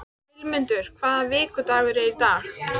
Vilmundur, hvaða vikudagur er í dag?